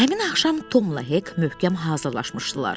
Həmin axşam Tomla Hek möhkəm hazırlaşmışdılar.